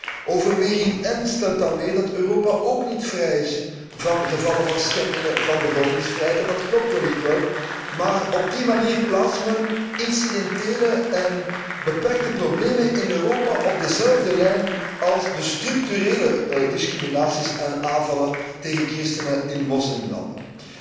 In overweging N wordt dan weer gesteld dat Europa ook niet vrij is van gevallen van schendingen van de godsdienstvrijheid en dat klopt wellicht wel, maar op die manier plaatst men incidentele en beperkte problemen in Europa op dezelfde lijn als de structurele discriminaties van en aanvallen tegen christenen in moslimlanden.